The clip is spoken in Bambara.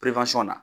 na